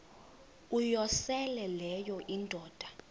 uyosele leyo indoda